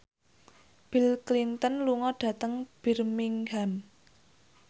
Bill Clinton lunga dhateng Birmingham